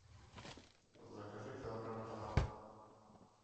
закажи килограмм томатов